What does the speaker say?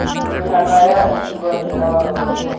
mĩhaka ya icigo nĩ irathondekwo.